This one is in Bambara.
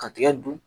Ka tigɛ dun